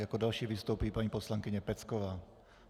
Jako další vystoupí paní poslankyně Pecková.